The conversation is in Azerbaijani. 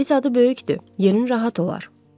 Evin zadı böyükdür, yerin rahat olar.